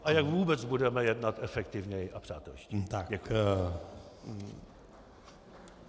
A jak vůbec budeme jednat efektivněji a přátelštěji.